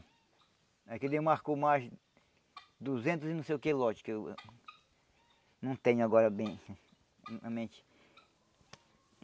É que demarcou mais duzentos e não sei o que lotes, que eu não tenho agora bem na mente.